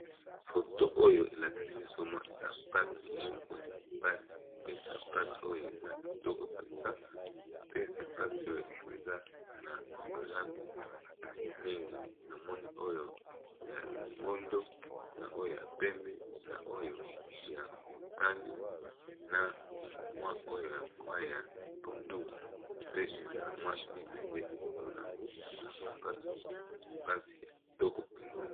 Foto oyo elakisi biso mwa sapato moko ya basi pe sapato oyo eza kitoko mpenza pe sapato oyo eza na ba langi mingi na moni oyo ya longondo, na oyo ya pembe, na oyo ya mutani, na mwa oyo ya mwa ya pondu, pe eza na mwa libende likolo na yango eza sapato ya basi ya kitoko mpenza.